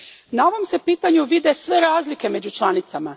Na ovom se pitanju vide sve razlike među članicama.